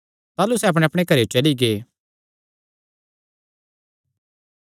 ताह़लू सैह़ अपणेअपणे घरेयो चली गै